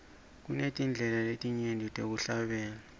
kunetindlela letinyenti tekuhlabela